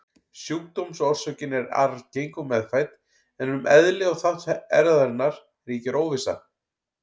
Sjúkdómsorsökin er arfgeng og meðfædd, en um eðli og þátt erfðarinnar ríkir óvissa.